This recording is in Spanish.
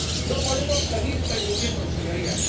No podemos seguir permitiéndolo, señorías.